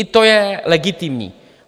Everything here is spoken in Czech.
I to je legitimní.